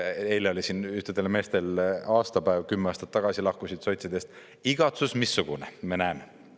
Eile oli siin ühtedel meestel aastapäev, kümme aastat tagasi lahkusid sotsidest – igatsus missugune, me näeme.